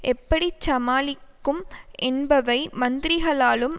எப்படி சமாளிக்கும் என்பவை மந்திரிகளாலும்